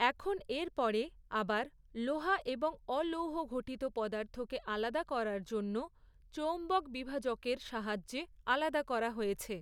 এখন এর পরে, আবার, লোহা এবং অলৌহঘটিত পদার্থকে আলাদা করার জন্য, চৌম্বক বিভাজকের সাহায্যে আলাদা করা হয়েছে।